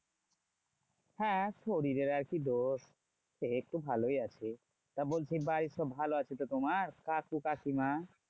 হ্যাঁ শরীরের আর কি দোষ? এইতো ভালোই আছি। তা বলছি বাড়ির সব ভালো আছে তো তোমার কাকু কাকিমা?